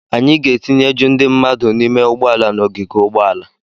Anyị ga-etinye ju ndị mmadụ n'ime ụgbọala n'ogige ụgbọala.